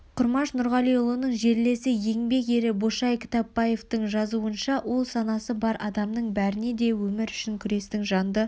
құмаш нұрғалиұлының жерлесі еңбек ері бошай кітапбаевтың жазуынша ол санасы бар адамның бәріне де өмір үшін күрестің жанды